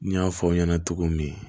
N y'a fɔ aw ɲɛna cogo min